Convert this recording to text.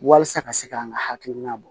Walasa ka se k'an ka hakilina bɔ